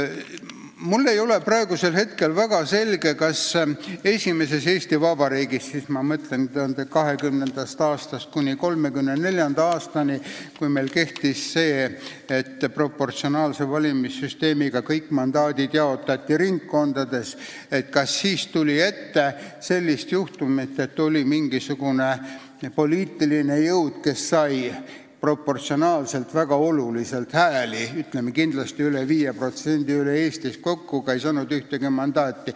Mulle ei ole teada, kas esimeses Eesti Vabariigis – ma mõtlen 1920. aastast kuni 1934. aastani, kui meil kehtis selline kord, et proportsionaalse valimissüsteemiga jaotati kõik mandaadid ringkondades – tuli ette sellist juhtumit, et oli mingisugune poliitiline jõud, kes sai hääli Eesti peale kokku üle 5%, aga ei saanud ühtegi mandaati.